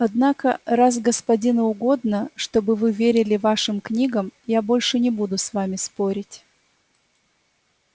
однако раз господину угодно чтобы вы верили вашим книгам я больше не буду с вами спорить